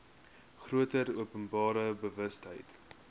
groter openbare bewustheid